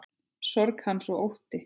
Sorg hans og ótti.